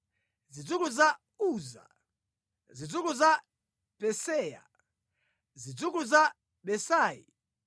zidzukulu za Uza, zidzukulu za Peseya, zidzukulu za Besai,